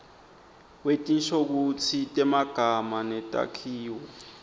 wetinshokutsi temagama netakhiwo